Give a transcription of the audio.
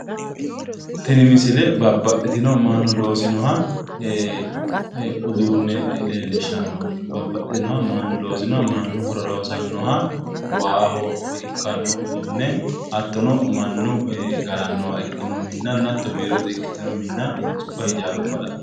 Tini misile babbaxitinoha mannu loosino uduunne leellishshannonke. Babbaxinoha mannu loosinoha mannu horora hosannoha waaho ikkanno uduunne hattono mannu galannowa ikkinoha hattono biirote ikkitino hintsuwa ijaaruwa la'neemmo.